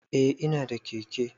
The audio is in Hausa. Eh ina da keke.